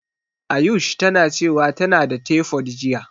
Ayush tana cewa tana da tefod jiya.